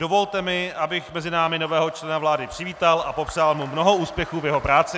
Dovolte mi, abych mezi námi nového člena vlády přivítal a popřál mu mnoho úspěchů v jeho práci.